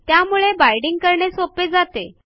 त्यामुळे बाईंडिंग करणे सोपे जाते